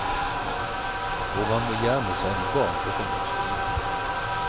Og han må gjerne sende barn på søndagsskolen.